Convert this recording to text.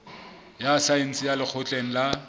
ya saense ya lekgotleng la